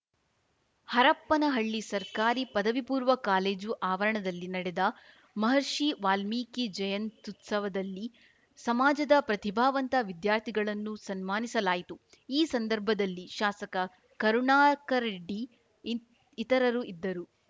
ಹರಪನಹಳ್ಳಿ ಸರ್ಕಾರಿ ಪದವಿ ಪೂರ್ವ ಕಾಲೇಜು ಆವರಣದಲ್ಲಿ ನಡೆದ ಮಹರ್ಷಿ ವಾಲ್ಮೀಕಿ ಜಯಂತ್ಯುತ್ಸವದಲ್ಲಿ ಸಮಾಜದ ಪ್ರತಿಭಾವಂತ ವಿದ್ಯಾರ್ಥಿಗಳನ್ನು ಸನ್ಮಾನಿಸಲಾಯಿತು ಈ ಸಂದರ್ಭದಲ್ಲಿ ಶಾಸಕ ಕರುಣಾಕರರೆಡ್ಡಿ ಇಂತ್ ಇತರರು ಇದ್ದರು